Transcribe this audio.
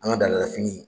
An ka dala fini